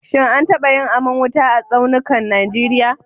Shin an taba yin aman wuta a tsaunukan Najeriya?